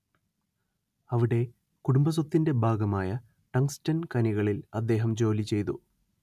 അവിടെ കുടുംബസ്വത്തിന്റെ ഭാഗമായ ടങ്ങ്സ്ടൻ ഖനികളിൽ അദ്ദേഹം ജോലിചെയ്തു